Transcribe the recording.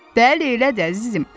Dəli elə də əzizim.